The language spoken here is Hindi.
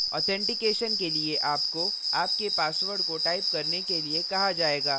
authentication के लिए आपको आपके password को type करने के लिए कहा जायेगा